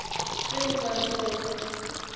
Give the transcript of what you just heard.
ge o ka rutega ke